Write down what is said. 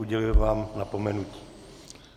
Uděluji vám napomenutí.